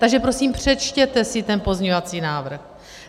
Takže prosím, přečtěte si ten pozměňovací návrh!